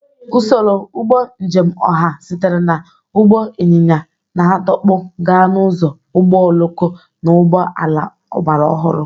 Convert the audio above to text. Usoro ụgbọ njem ọha sitere na ụgbọ ịnyịnya na-adọkpụ gaa n'ụzọ ụgbọ oloko na ụgbọ ala ọgbara ọhụrụ.